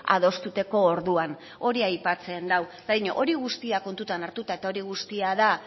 adosteko orduan hori aipatzen du eta dio hori guztia kontutan hartuta eta hori guztia da